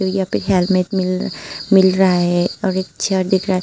यहां पे हेलमेट मिल मिल रहा है और एक चेयर दिख रहा है।